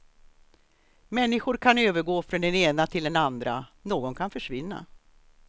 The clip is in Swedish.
Människor kan övergå från den ena till den andra, någon kan försvinna.